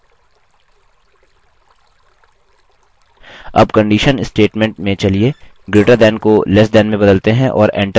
अब conditional statement में चलिए greater than को less than में बदलते हैं और enter की दबाएँ